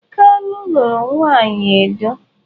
Kalu luru nwanyi Edo.